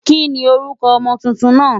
Kí ni orúkọ ọmọ tuntun náà?